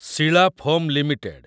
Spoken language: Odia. Sheela foam limited